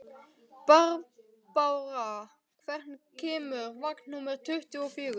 Barbára, hvenær kemur vagn númer tuttugu og fjögur?